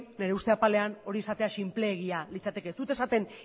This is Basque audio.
nire uste apalean hori esatea sinpleegia litzateke ez dut esaten